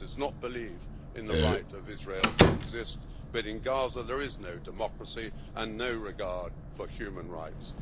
It does not believe in the right of Israel to exist, but in Gaza there is no democracy and no regard for human rights.